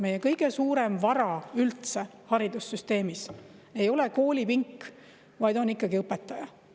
Meie kõige suurem vara üldse haridussüsteemis ei ole koolipink, vaid on ikkagi õpetaja.